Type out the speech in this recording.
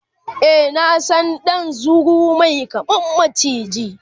e na San ɗan zuru Mai kama maciji